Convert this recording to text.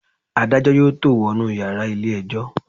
Adájọ́ yóò tó wọnú yàrá ilé ẹjọ́.